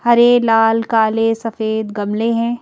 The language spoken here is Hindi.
हरे लाल काले सफेद गमले हैं।